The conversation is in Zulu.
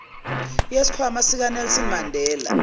yesikhwama sikanelson mandela